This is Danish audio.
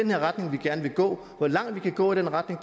her retning vi gerne vil gå hvor langt vi kan gå i den retning